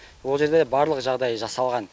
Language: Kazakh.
он жерде барлық жағдай жасалған